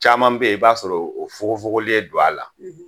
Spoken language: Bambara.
Caman bɛ yen i b'a sɔrɔ o fugufugulen don a la